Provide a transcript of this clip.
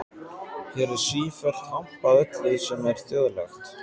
Hér er sífellt hampað öllu sem er þjóðlegt.